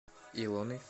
илоной